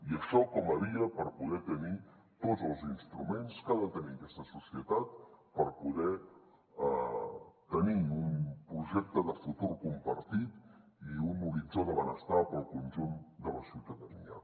i això com a via per poder tenir tots els instruments que ha de tenir aquesta societat per poder tenir un projecte de futur compartit i un horitzó de benestar per al conjunt de la ciutadania